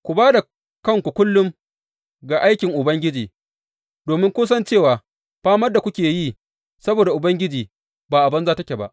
Ku ba da kanku kullum ga aikin Ubangiji, domin kun san cewa famar da kuke yi saboda Ubangiji ba a banza take ba.